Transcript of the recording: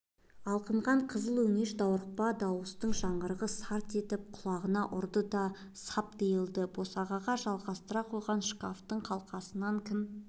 алқынған қызыл өңеш даурықпа дауыстардың жаңғырығы сарт етіп құлағына ұрды да салып тиылды босағаға жалғастыра қойған шкафтың қалқасынан кім